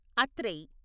అత్రై